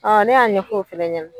ne y'a ɲɛfɔ o fɛnɛ ɲɛnɛ.